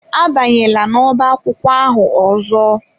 Abanyela ọbá akwụkwọ ahụ ọzọ!